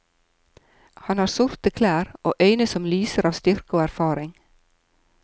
Han har sorte klær, og øyne som lyser av styrke og erfaring.